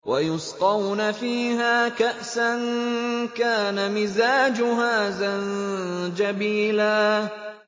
وَيُسْقَوْنَ فِيهَا كَأْسًا كَانَ مِزَاجُهَا زَنجَبِيلًا